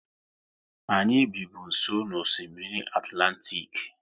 Anyị bi bụ nsọ n'Osimiri Atlantik